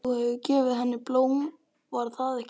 Þú hefur gefið henni blóm, var það ekki?